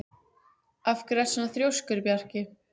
Af hverju ertu svona þrjóskur, Bjarki?